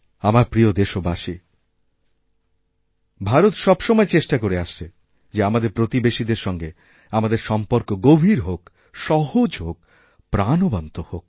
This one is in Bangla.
আমার প্রিয় দেশবাসীভারত সব সময় চেষ্টা করে আসছে যে আমাদের প্রতিবেশীদের সঙ্গে আমাদের সম্পর্ক গভীরহোক সহজ হোক প্রাণবন্ত হোক